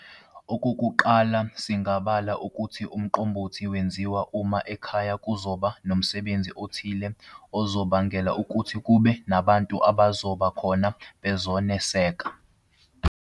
Okokuqala singabala ukuthi uMqombothi wenziwa uma ekhaya kuzoba nomsebezi othile ozobangela ukuthi kube nabantu abazoba khona bezoneseka.